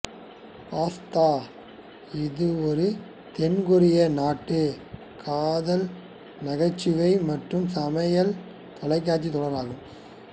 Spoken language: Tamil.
பாஸ்தா இது ஒரு தென் கொரியா நாட்டு காதல் நகைச்சுவை மற்றும் சமையல் தொலைக்காட்சி தொடர் ஆகும்